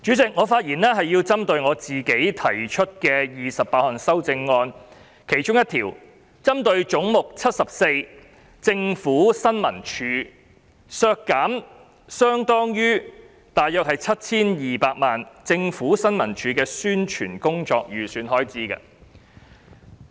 主席，我的發言是針對由我提出的28項修正案中，"總目 74― 政府新聞處"削減大約相當於 7,200 萬元的政府新聞處宣傳工作的預算開支發言。